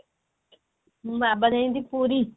ମୋ ବାବା ଯାଇଛନ୍ତି ପୁରୀ